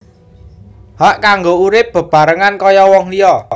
Hak kanggo urip bebarengan kaya wong liya